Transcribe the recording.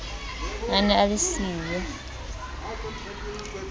a ne a le siyo